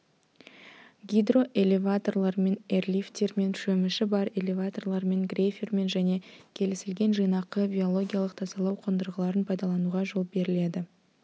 гидроэлеваторлармен эрлифтермен шөміші бар элеваторлармен грейфермен және келісілген жинақы биологиялық тазалау қондырғыларын пайдалануға жол беріледі